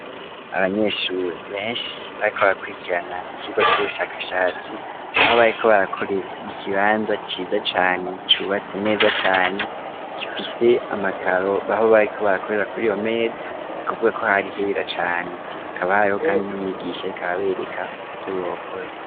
Abanyeshure benshi bariko abakurikirana ikirwa c'ubushakashatsi aho bariko barakorera mu kibanza ciza cane cubatse neza cane kipise amakaro baho bariko barakorera kuri iyomedo ni kuvuga ko hari hera cane kabahariho, kandi n'umwigisha ikababereka vyo bokora.